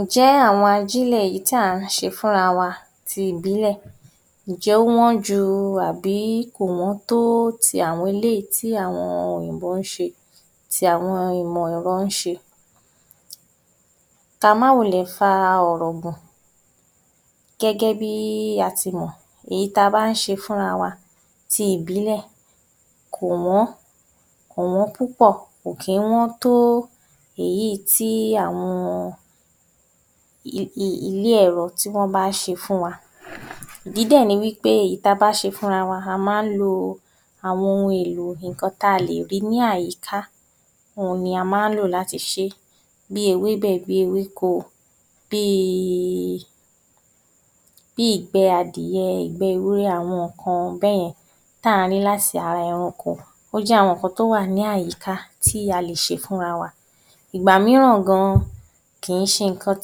Ǹjẹ́ àwọn ajílẹ̀ yìí táà ń ṣe fúnra wa ti ìbílẹ̀, ǹjẹ́ ó wọ́n ju tàbí kò wọ́n tó ti àwọn eléyìí tí àwọn òyìnbó ń ṣe, ti àwọn ìmọ̀ ẹ̀rọ ń ṣe. Ka má wulẹ̀ fa ọ̀rọ̀ gùn, gẹ́gẹ́ bí a ti mọ̀ èyí ta bá ń ṣe fúnra wa ti ìbílẹ̀, kò wọ́n, kò wọ́n púpọ̀ kò kì ń wọ́n tó èyíì tí àwọn ilé ẹ̀rọ tí wọ́n bá ṣe fún wa. Ìdí dẹ̀ ni wí pé èyí ta bá ṣe fúnra wa a máa ń lo àwọn ohun-èlò ǹkan táa lè rí ní àyíká, òhun ni a máa ń lò láti ṣe bíi ewébẹ̀, bíi ewéko, bíi ìgbẹ́ adìyẹ, ìgbẹ́ ewúrẹ́, àwọn ǹkan bẹ́yẹn táà ń rí láti ara ẹranko, ó jẹ́ àwọn nǹkan tó wà ní àyíká tí a lè ṣe fúnra wa. Ìgbà mírà gan-an kì í ṣe ǹkan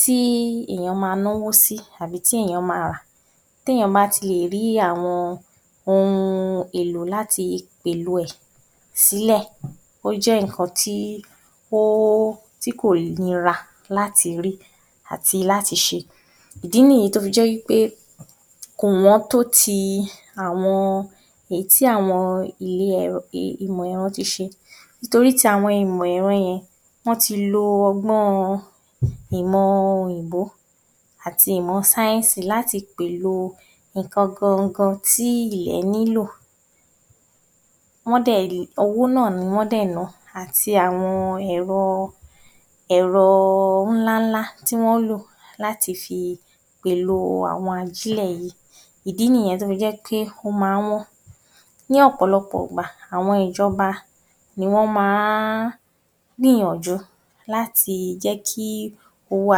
tí èèyàn máa náwó sí àbí tí èèyàn ma rà. Téèyàn bá ti rí àwọn ohun-èlò láti pèèlò ẹ̀ sílẹ̀, ó jẹ́ ǹkan tí o, tí kò nira láti rí àti láti ṣe. ìdí nìyí tó fi jẹ́ wí pé kò wọ́n tó ti àwọn, èyí tí àwọn ilé ẹ̀rọ, ìmọ̀ ẹ̀ro ti ṣe torí tàwọn tìmọ̀ ẹ̀rọ yẹn wọ́n ti lo ọgbọ́n ìmọ òyìnbó àti ìmọ̀ sáyẹ́nsì láti pèèlò ǹkan gan gan tí ilẹ̀ nílò. Wọ́n dẹ̀, owó náà ni wọ́n dẹ̀ ná àti àwọn ẹ̀rọ, ẹ̀rọ ńlá ńlá tí wọ́n ń lò láti fi pèèlò àwọn ajílẹ̀ yìí; ìdí nìyẹn tó fi jẹ́ pé ó ma wọ́n. Ní ọ̀pọ̀lọpọ̀ ìgbà, àwọn ìjọba ni wọ́n máa ń gbìyànjú láti jẹ́ kí owó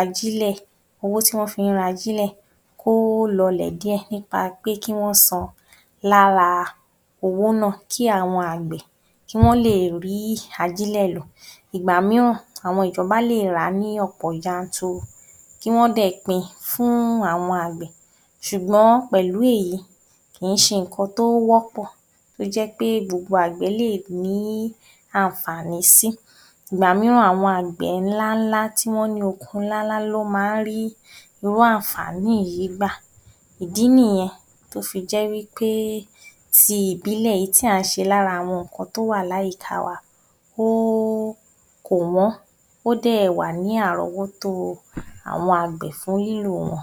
ajílẹ̀, owó tí wọ́n fi ń ra ajílẹ̀ kó lọlẹ̀ díẹ̀ nípa pé kí wọ́n san lára owó náà kí àwọn àgbẹ̀ kí wọ́n lè rí ajílẹ̀ lò. Ìgbà míràn àwọn ìjọba lè rà á ní ọ̀pọ̀ yanturu, kí wọ́n dẹ̀ pín fún àwọn àgbẹ̀ ṣùgbọ́n pẹ̀lú èyí kì í ṣe ǹkan tó wọ́pọ̀ tó jẹ́ pé gbogbo àgbẹ̀ lè ní àǹfààní sí. Ìgbà míràn àwọn àgbẹ̀ ńlá ńlá tí wọ́n ní oko ńlá ńlá ló máa ń rí irú àǹfààní yìí gbà. Ìdí nìyẹn tó fi jẹ́ wí pé ti ìbílẹ̀ èyí táà ń ṣe láti ara ǹkan tó wà láyìíká wa, ó, kò wọ́n, ó dẹ̀ wà ní àrọ́wótó àwọn àgbẹ̀ fún lílò wọn.